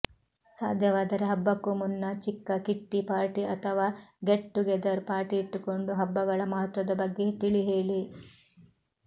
ಸಾಧ್ಯವಾದರೆ ಹಬ್ಬಕ್ಕೂ ಮುನ್ನ ಚಿಕ್ಕ ಕಿಟ್ಟಿ ಪಾರ್ಟಿ ಅಥವಾ ಗೆಟ್ ಟುಗೆದರ್ ಪಾರ್ಟಿಯಿಟ್ಟುಕೊಂಡು ಹಬ್ಬಗಳ ಮಹತ್ವದ ಬಗ್ಗೆ ತಿಳಿ ಹೇಳಿ